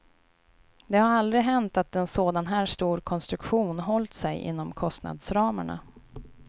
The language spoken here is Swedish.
Det har aldrig hänt att en sådan här stor konstruktion hållt sig inom kostnadsramarna.